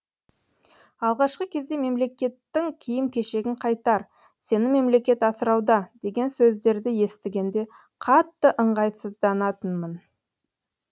алғашқы кезде мемлекеттің киім кешегін қайтар сені мемлекет асырауда деген сөздерді естігенде қатты ыңғайсызданатынмын